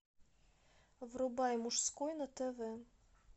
врубай мужской на тв